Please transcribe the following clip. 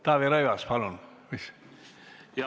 Taavi Rõivas, palun!